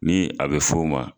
Ni a bɛ fɔ u ma